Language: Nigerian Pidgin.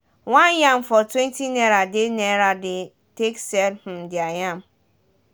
one yam for twenty naira they naira they take sell um their yam